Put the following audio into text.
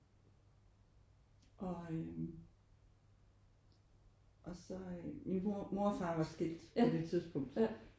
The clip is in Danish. Og øh og så øh min mor og far var skilt på det tidspunkt